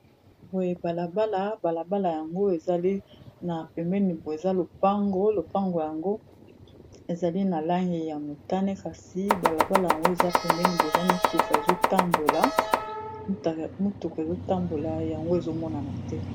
Boye bala bala, bala bala yango ezali na pemeni boye eza lopango lopango yango ezali na langi ya motane kasi bala bala yango eza pemeni boye eza mutuka ezo tambola yango ezo monana te.